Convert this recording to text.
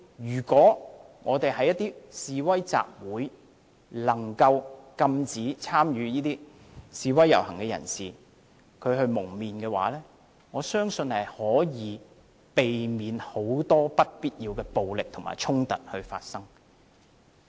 如果我們能禁止一些參與示威、集會、遊行的人蒙面，相信可以避免很多不必要的暴力和衝突發生。